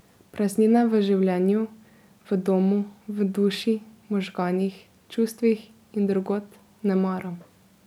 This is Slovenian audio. Praznine v življenju, v domu, v duši, možganih, čustvih in drugod ne maram.